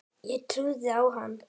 Ég trúði á hann.